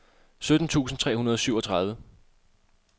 sytten tusind tre hundrede og syvogtredive